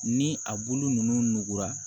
Ni a bulu ninnu nugura